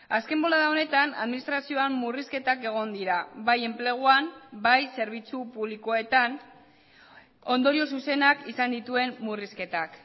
azken bolada honetan administrazioan murrizketak egon dira bai enpleguan bai zerbitzu publikoetan ondorio zuzenak izan dituen murrizketak